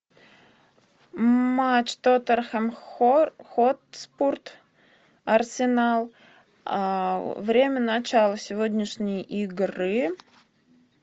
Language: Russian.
матч тоттенхэм хотспур арсенал время начала сегодняшней игры